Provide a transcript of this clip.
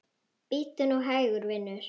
Bíddu nú hægur, vinur.